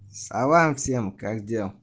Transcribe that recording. а вам всем как дем